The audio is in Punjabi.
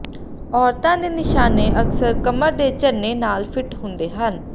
ਔਰਤਾਂ ਦੇ ਨਿਸ਼ਾਨੇ ਅਕਸਰ ਕਮਰ ਤੇ ਝਰਨੇ ਨਾਲ ਫਿੱਟ ਹੁੰਦੇ ਹਨ